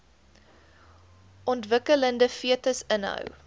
ontwikkelende fetus inhou